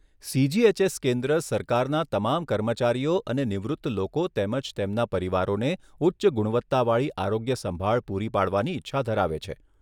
CGHS કેન્દ્ર સરકારના તમામ કર્મચારીઓ અને નિવૃત્ત લોકો તેમજ તેમના પરિવારોને ઉચ્ચ ગુણવત્તાવાળી આરોગ્ય સંભાળ પૂરી પાડવાની ઈચ્છા ધરાવે છે.